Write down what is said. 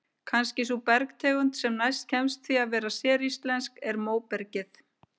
Kannski sú bergtegund sem næst kemst því að vera séríslensk sé móbergið.